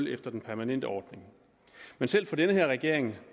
efter den permanente ordning men selv for den her regering